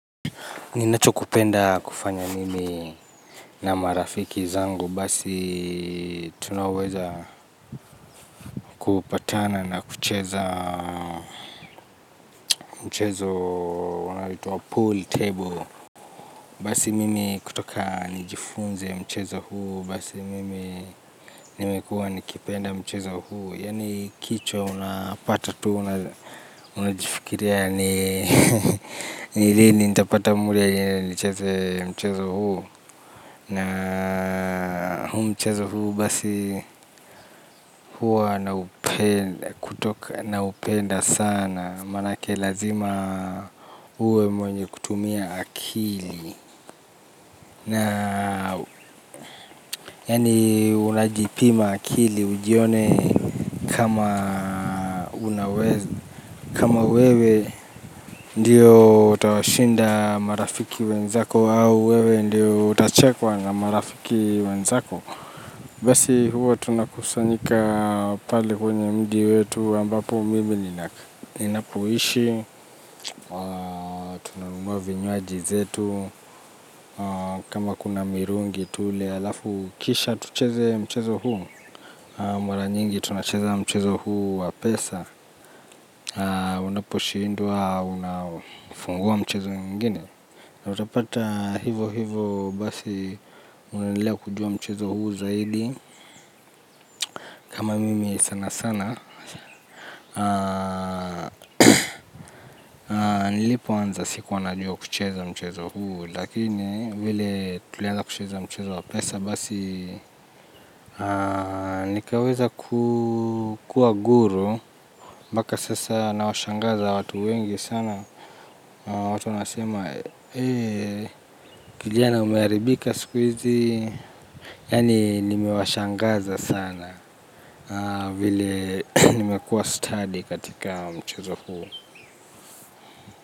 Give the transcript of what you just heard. Ninacho kipenda kufanya mimi na marafiki zangu basi. Tunaweza kupatana na chuzeza mchezo unaitwa pooltable. Basi mimi kutoka nijifunze mchezo huu basi mimi nimekuwa nikipenda mchezo huu. Yani kicho unapata tu unajifikiria ni lini nitapata mule nicheze mchezo huu. Na huu mchezo huu basi huwa naupenda na upenda sana. Manake lazima huwe mwenye kutumia akili. Na yani unajipima akili ujione kama wewe ndiyo utakae washinda marafiki wenzako ama wewe ndo utachekwa na marafiki wenzako. Basi huo tunakusanyika pale kwenye mji wetu ambapo mimi ninapoishi, tunanunuwa vinywaji vyetu, kama kuna mirungi tule alafu kisha tucheze mchezo huu. Mara nyingi tunacheze mchezo huu wa pesa, unaposhindwa unafungua mchezo mwingine. Utapata hivo hivo basi unaendeleya kujua mchezo huu zaidi. Kama mimi sana sana. Nilipo anza sikuwa najua kucheza mchezo huu. Lakini vile tuliaza kucheza mchezo wapesa. Basi nikaweza kuwa guru. Mbaka sasa nawashangaza watu wengi sana. Watu wanasema kijana umearibika sikuizi. Yani nimewashangaza sana nimekuwa stadi katika mchezo huu.